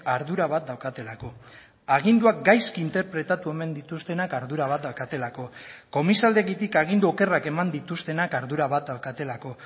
ardura bat daukatelako aginduak gaizki interpretatu omen dituztenak ardura bat daukatelako komisaldegitik agindu okerrak eman dituztenak ardura bat daukatelako